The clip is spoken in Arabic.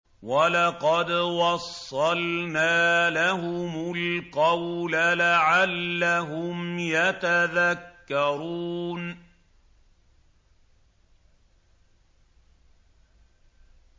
۞ وَلَقَدْ وَصَّلْنَا لَهُمُ الْقَوْلَ لَعَلَّهُمْ يَتَذَكَّرُونَ